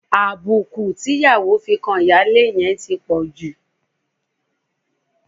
Àbùkù tí ìyàwó fi kan ìyáálé yẹn ti pọ̀ jù.